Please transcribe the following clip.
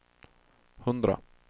hundra